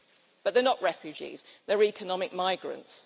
But they are not refugees, they are economic migrants.